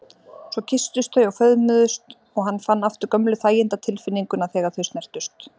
Svo kysstust þau og föðmuðust og hann fann aftur gömlu þæginda- tilfinninguna þegar þau snertust.